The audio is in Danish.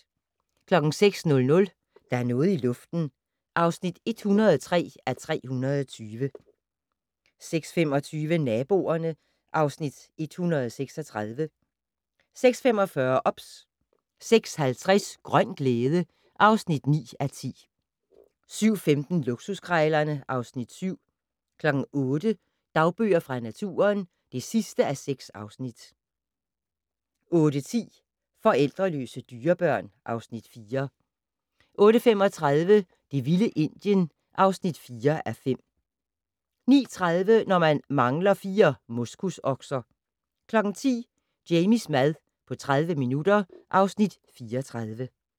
06:00: Der er noget i luften (103:320) 06:25: Naboerne (Afs. 136) 06:45: OBS 06:50: Grøn glæde (9:10) 07:15: Luksuskrejlerne (Afs. 7) 08:00: Dagbøger fra naturen (6:6) 08:10: Forældreløse dyrebørn (Afs. 4) 08:35: Det vilde Indien (4:5) 09:30: Når man mangler fire moskusokser 10:00: Jamies mad på 30 minutter (Afs. 34)